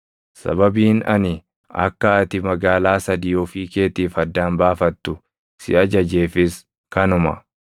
Sababiin ani akka ati magaalaa sadii ofii keetiif addaan baafattu si ajajeefis kanuma.